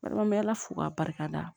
Bari n bɛ ala fo k'a barikada